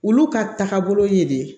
Olu ka taagabolo ye de